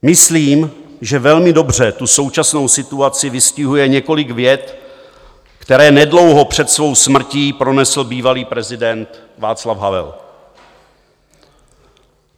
Myslím, že velmi dobře tu současnou situaci vystihuje několik vět, které nedlouho před svou smrtí pronesl bývalý prezident Václav Havel.